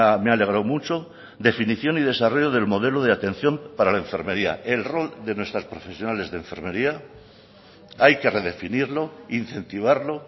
me ha alegrado mucho definición y desarrollo del modelo de atención para la enfermería el rol de nuestras profesionales de enfermería hay que redefinirlo incentivarlo